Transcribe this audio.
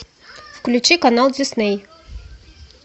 включи канал дисней